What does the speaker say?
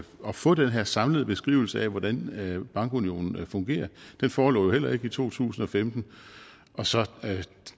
at få den her samlede beskrivelse af hvordan bankunionen fungerer den forelå jo heller ikke i to tusind og femten og så